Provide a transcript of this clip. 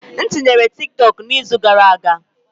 M tinyere TikTok n'izu gara aga.